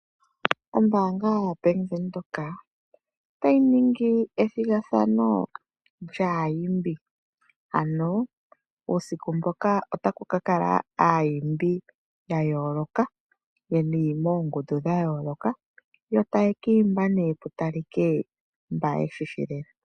Ombanga yaBank Windhoek ota yi ningi ethigathano lyaa yimbi ano uusiku mboka Otaku kala aayimbi ya yooloka, yeli moongundu dha yooloka, yo taye kiimba née pu talike mba yeshishi lela.